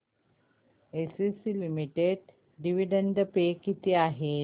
ACC limited dividend pay किती आहे